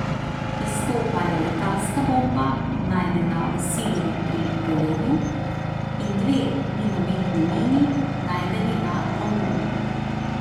Izstopajo letalska bomba, najdena v Silovi pri Velenju, in dve minometni mini, najdeni na Rombonu.